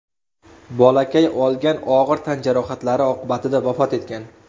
Bolakay olgan og‘ir tan jarohatlari oqibatida vafot etgan .